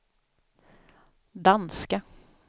danska